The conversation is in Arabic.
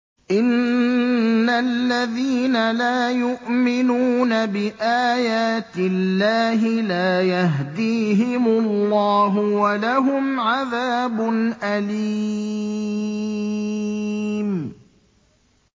إِنَّ الَّذِينَ لَا يُؤْمِنُونَ بِآيَاتِ اللَّهِ لَا يَهْدِيهِمُ اللَّهُ وَلَهُمْ عَذَابٌ أَلِيمٌ